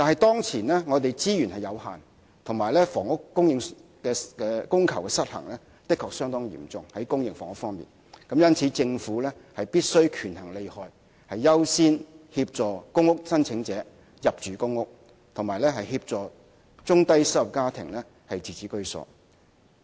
當前我們的資源有限，而公私營房屋的供求失衡情況的確相當嚴重，因此政府必須權衡利害，優先協助公屋申請者入住公屋及協助中低收入家庭自置居所。